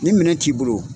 Ni minɛn t'i bolo